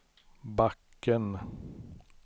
backen